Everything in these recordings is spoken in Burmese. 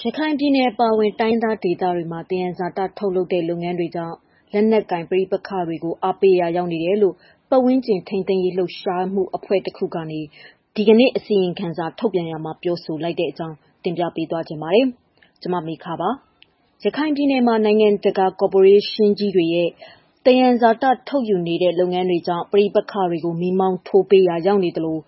ရခိုင်ပြည်နယ်အပါအဝင် တိုင်းရင်းသားဒေသတွေမှာ သယံဇာတထုတ်လုပ်တဲ့ လုပ်ငန်းတွေကြောင့် လက်နက်ကိုင် ပဋိပက္ခတွေကို အားပေးရာ ရောက်နေတယ်လို့ ပတ်ဝန်းကျင်ထိန်းသိမ်းရေး လှုပ်ရှားမှုအဖွဲ့တခုက ဒီကနေ့ အစီရင်ခံစာ ထုတ်ပြန်ရာမှာ ပြောဆိုလိုက်တဲ့ အကြောင်း တင်ပြပေးချင်ပါတယ်။ ဗွီအိုအေမြန်မာပိုင်း သတင်းထောက် မမေခက ပြောပြပေးပါမယ်။ ရခိုင်ပြည်နယ်မှာ နိုင်ငံတကာ ကော်ပိုရေးရှင်းကြီးတွေရဲ့ သယံဇာတ ထုတ်ယူနေတဲ့ လုပ်ငန်းတွေ ကြောင့် ပဋိပက္ခတွေကို မီးမောင်းထိုးပေးရာ ရောက်နေသလို၊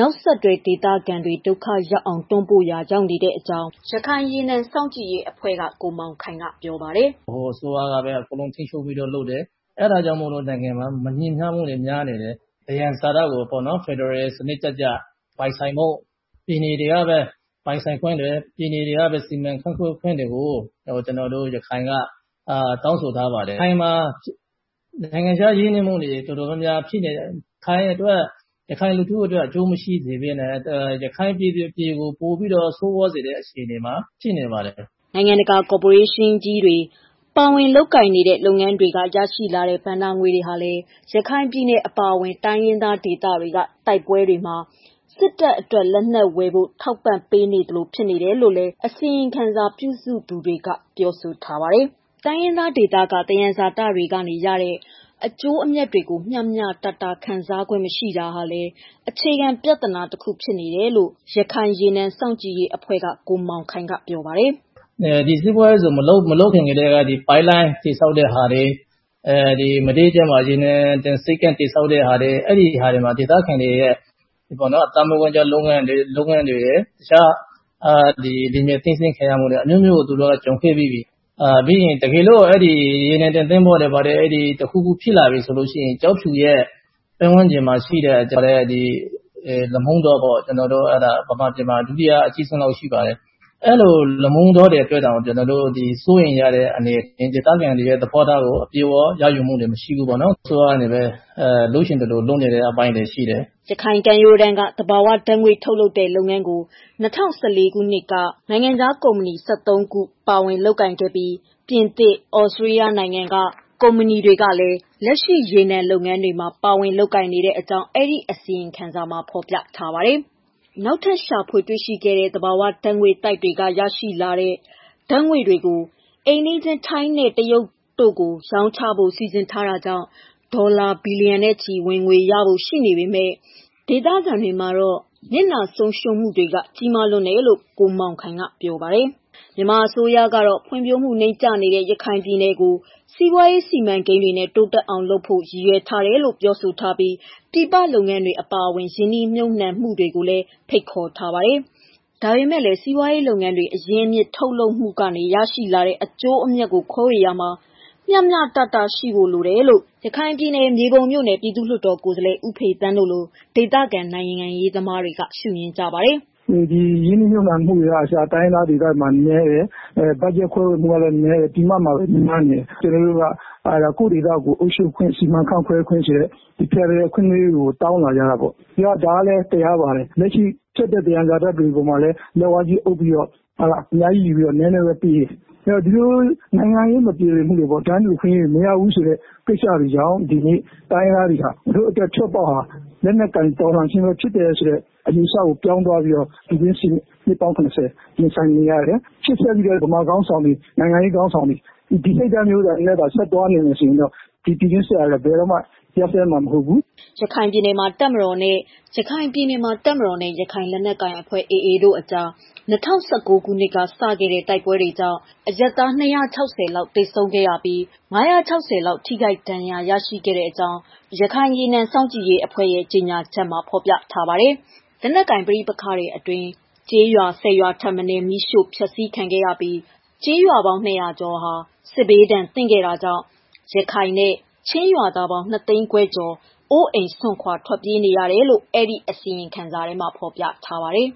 နောက်ဆက်တွဲ ဒေသခံတွေ ဒုက္ခရောက်အောင် တွန်းပို့ပေးရာရောက်တဲ့အကြောင်း ရခိုင်ရေနံ စောင့်ကြည့်ရေးအဖွဲ့ (AOW) က ကိုမောင်ခိုင်က ပြောပါတယ်။ "ဗဟိုအစိုးရကပဲ အကုန်လုံးထိန်းချုပ်ပြီးတော့ လုပ်တယ်။ အဲ့ဒါကြောင့်မို့လည်း နိုင်ငံက မညီမျှမှုတွေ များနေတယ်။ သယံဇာတကိုပေါ့နော် ဖယ်ဒရယ်စနစ်ကျကျ ပိုင်ဆိုင်ဖို့ ပြည်နယ်တွေကပဲ ပိုင်ဆိုင်ခွင့်တွေ၊ ပြည်နယ်တွေကပဲ စီမံခန့်ခွဲခွင့်တွေကို ကျနော်တို့ ရခိုင်က တောင်းဆိုထားပါတယ်။ ရခိုင်မှာ နိုင်ငံခြားရင်းနှီးမှုတွေ တော်တော်များများ ရခိုင်အတွက် ရခိုင်လူထုအတွက် အကျိုးမရှိစေဘဲနဲ့ ရခိုင်ပြည်သူတွေကို ပိုပြီးတော့ ဆိုးရွားစေတဲ့ အခြေအနေမှာ ရှိနေပါတယ်။" နိုင်ငံတကာ ကော်ပိုရေးရှင်းကြီးတွေ ပါဝင်လုပ်ကိုင်နေတဲ့ လုပ်ငန်းတွေက ရရှိတဲ့ ဘဏ္ဍာငွေတွေဟာလည်း ရခိုင်ပြည်နယ်အပါအဝင် တိုင်းရင်းသားဒေသတွေက တိုက်ပွဲတွေမှာ စစ်တပ်အတွက် လက်နက်ဝယ်ဖို့ ထောက်ပံ့ပေးနေသလို ဖြစ်နေတယ်လို့လည်း အစီရင်ခံစာ ပြုစုသူတွေက ပြောဆိုထားတာပါ။ တိုင်းရင်းသားဒေသက သယံဇာတတွေက ရတဲ့ အကျိုးအမြတ်တွေကို မျှမျှတတ ခံစားခွင့် မရှိတာဟာလည်း အခြေခံပြဿနာတခု ဖြစ်တယ်လို့ ရခိုင်ရေနံစောင့်ကြည့်ရေးအဖွဲ့က ကိုမောင်ခိုင်က ပြောပါတယ်။ "ဒီစီးပွားရေးဇုန် မလုပ်ခင်ကတည်းက ပိုက်လိုင်းတွေ ဆောက်တဲ့ဟာတွေ၊ မဒေးကျွန်းမှာ ရေနံတင်ဆိပ်ကမ်း တည်ဆောက်တဲ့ဟာတွေ အဲ့ဒီဟာတွေမှာ ဒေသခံတွေရဲ့ အသက်မွေးဝမ်းကျောင်း လုပ်ငန်းတွေရယ်၊ တခြား ဒီနယ်မြေသိမ်းဆည်းခံရမှုတွေ အမျိုးမျိုးကို သူတို့ ကြုံတွေ့ပြီးပြီ။ တကယ်လို့ ဒီရေနံတင်သွင်းဖို့တွေ ဘာတွေ တခုခု ဖြစ်လာပြီဆိုလို့ရှိရင် ကျောက်ဖြူရဲ့ ပတ်ဝန်းကျင်မှာ ရှိတဲ့ လမုံတောပေါ့ မြန်မာပြည်မှာ ဒုတိယအကြီးဆုံးလောက်ရှိပါတယ်။ အဲလို လမုံတောတွေ အတွက်တောင် ကျနော်တို့ စိုးရိမ်ရတဲ့ ဒေသခံတွေရဲ့ သဘောထားကို အပြည့်အ၀ ရယူမှု မရှိဘူးပေါ့နော်။ အစိုးရနဲ့ပဲ လုပ်ချင်သလို လုပ်နေတဲ့ အပိုင်းတွေရှိတယ်။" ရခိုင်ကမ်းရိုးတန်းက သဘာဝဓာတ်ငွေ့ ထုတ်လုပ်တဲ့လုပ်ငန်းကို ၂၀၁၄ ခုနှစ်က နိုင်ငံခြားကုမ္ပဏီ ၁၃ ခု ပါဝင်လုပ်ကိုင်နေပြီး ပြင်သစ်၊ သြစတြေးလျ နိုင်ငံက ကုမ္ပဏီတွေကလည်း လက်ရှိ ရေနံလုပ်ငန်းတွေမှာ ပါဝင်နေကြောင်းလည်း အစီရင်ခံစာမှာ ဖော်ပြထားပါတယ်။ နောက်ထပ် ရှာဖွေတွေ့ရှိတဲ့ သဘာဝဓာတ်ငွေ့သိုက်တွေက တူးဖော်ရရှိတဲ့ ဓာတ်ငွေ့တွေကို အိမ်နီးချင်း ထိုင်းနဲ့ တရုတ်နိုင်ငံတွေကို ရောင်းချဖို့ စီစဉ်ထားတာကြောင့် ဒေါ်လာ ဘီလီယံနဲ့ချီ ဝင်ငွေရဖို့ ရှိနေပေမဲ့ ဒေသခံတွေမှာတော့ နစ်နာဆုံးရှုံးမှုတွေက ကြီးမားလွန်းတယ်လို့လည်း ကိုမောင်ခိုင်က ပြောပါတယ်။ မြန်မာအစိုးရကတော့ ဖွံ့ဖြိုးမှုတွေ နိမ့်ကျနေတဲ့ ရခိုင်ပြည်နယ်ကို စီးပွားရေး စီမံကိန်းတွေနဲ့ တိုးတက်အောင်လုပ်ဖို့ ရည်ရွယ်ထားတယ်လို့ ပြောဆိုထားပြီး ပြည်ပလုပ်ငန်းတွေ အပါအဝင် ရင်းနှီးမြှုပ်နံှမှုတွေကိုလည်း ဖိတ်ခေါ်ထားပါတယ်။ ဒါပေမဲ့လည်း စီးပွားရေးလုပ်ငန်းတွေ အရင်းအမြစ် ထုတ်လုပ်မှုတွေက ရရှိတဲ့ အကျိုးအမြတ်တွေကို ခွဲဝေသုံးစွဲရာမှာ မျှတမှု ရှိဖို့လိုတယ်လို့ ရခိုင်ပြည်နယ် မြေပုံမြို့နယ် ပြည်သူ့လွှတ်တော်ကိုယ်စားလှယ်ဦးဖေသန်းတို့လို ဒေသခံ နိုင်ငံရေးသမားတွေက မြင်ကြပါတယ်။ "ဒီရင်းနှီးမြှုပ်နှံမှုတွေကအစ တိုင်းရင်းသားဒေသတွေမှာ နည်းတယ်။ budget ခွဲဝေမှုကလည်း နည်းတယ်။ ပြင်ပမှာပဲ များနေတယ်။ ကျနော်တို့က ကိုယ့်ဒေသကို အုပ်ချုပ်ခွင့်၊ စီမံခန့်ခွဲခွင့် ဖယ်ဒရယ်အခွင့်အရေးကို တောင်းလာကြတာပေါ့။ ဒါကလည်းတရားပါတယ်။ လက်ရှိ ထွက်တဲ့ သယံဇာတတွေပေါ်မှာလည်း လက်ဝါးကြီးအုပ်ပြီးတော့ အများကြီးယူပြီးတော့ နည်းနည်းပဲပေးတယ်။ ဒီလိုနိုင်ငံရေး မပြေလည်မှုတွေပေါ့ ၊ တန်းတူအခွင့်အရေးတွေ မရဘူးဆိုတဲ့ကိစ္စတွေကြောင့် ဒီနေ့တိုင်းရင်းသားတွေက ငါတို့အတွက် ထွက်ပေါက်ဟာ လက်နက်ကိုင် တော်လှန်ခြင်းပဲ ဖြစ်တယ်လို့ အယူအဆကို ပြောင်းသွားပြီးတော့ နှစ်ပေါင်း ၇၀ ရင်ဆိုင်နေရတယ်။ ရှေ့ဆက်ပြီးတော့ မြန်မာခေါင်းဆောင်တွေ၊ နိုင်ငံရေးခေါင်းဆောင်တွေ ဒီစိတ်ဓာတ်မျိုးနဲ့သာ သွားနေမယ်ဆိုရင်တော့ ပြည်တွင်းစစ်ဟာလည်း ဘယ်တော့မှ ရပ်စဲမှာမဟုတ်ဘူး။" ရခိုင်ပြည်နယ်မှာ တပ်မတော်နဲ့ ရခိုင်လက်နက်ကိုင်အဖွဲ့ AA တို့ကြား ၂၀၁၉ ခုနှစ်က စခဲ့တဲ့ တိုက်ပွဲ တွေကြောင့် အရပ်သား ၂၆၀ လောက် သေဆုံးခဲ့ရပြီး၊ ၅၆၀ လောက် ထိခိုက်ဒဏ်ရာ ရရှိခဲ့ကြောင်း လည်း ရခိုင်ရေနံစောင့်ကြည့်ရေးအဖွဲ့ရဲ့ ကြေညာချက်မှာ ဖော်ပြထားတာပါ။ လက်နက်ကိုင် ပဋိပက္ခတွေအတွင်း ကျေးရွာ ၁၀ ရွာထက်မနည်း မီးရှို့ဖျက်ဆီးခံခဲ့ရပြီး ကျေးရွာပေါင်း ၂၀၀ ကျော်ဟာလည်း စစ်ဒဏ်သင့်ခဲ့တာကြောင့် ရခိုင်နဲ့ ချင်းရွာသားပေါင်း ၂၅၀,၀၀၀ ကျော် အိုးအိမ်စွန့်ခွာ ထွက်ပြေးတိမ်းရှောင်ခဲ့ကြရတယ်လို့လည်း အစီရင်ခံစာမှာ ဖော်ပြထားပါတယ်။